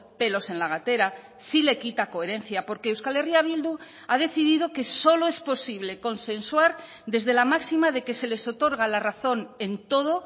pelos en la gatera sí le quita coherencia porque euskal herria bildu ha decidido que solo es posible consensuar desde la máxima de que se les otorga la razón en todo